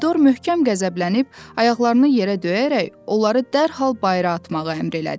Pomidor möhkəm qəzəblənib, ayaqlarını yerə döyərək onları dərhal bayıra atmağı əmr elədi.